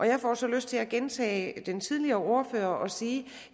jeg får så lyst til at gentage den tidligere ordfører og sige